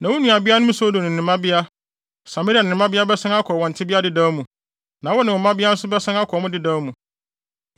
Na wo nuabeanom Sodom ne ne mmabea, Samaria ne ne mmabea bɛsan akɔ wɔn tebea dedaw mu, na wo ne wo mmabea nso bɛsan akɔ mo dedaw mu.